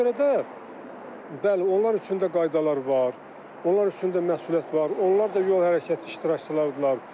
Ona görə də, bəli, onlar üçün də qaydalar var, onlar üstündə məsuliyyət var, onlar da yol hərəkəti iştirakçılardır.